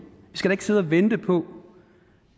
vi skal da ikke sidde og vente på